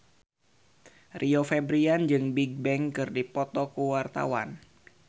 Rio Febrian jeung Bigbang keur dipoto ku wartawan